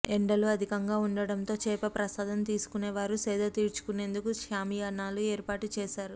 ఎండలు అధికంగా ఉండటంతో చేప ప్రసాదం తీసుకునేవారు సేద తీర్చుకునేందుకు షామియానాలు ఏర్పాటు చేశారు